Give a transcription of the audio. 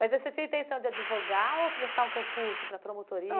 Mas você tinha a intenção de advogar ou prestar um concurso para promotoria?